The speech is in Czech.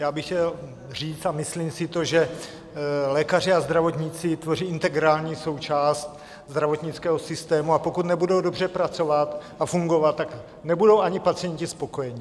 Já bych chtěl říct a myslím si to, že lékaři a zdravotníci tvoří integrální součást zdravotnického systému, a pokud nebudou dobře pracovat a fungovat, tak nebudou ani pacienti spokojeni.